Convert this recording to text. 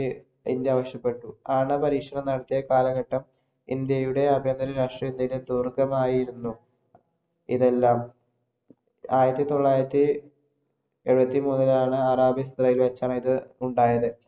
India ആവശ്യപെട്ടു. ആണവപരീക്ഷണം നടത്തിയ കാലഘട്ടം ഇന്ത്യയുടെ അഭ്യന്തര രാഷ്ട്രീയത്തിന് തുടക്കമായിരുന്നു ഇതെല്ലാം. ആയിരത്തിതൊള്ളായിരത്തിഎഴുപത്തിമൂന്നിനാണ് വച്ചാണ് ഇത് ഉണ്ടായത്.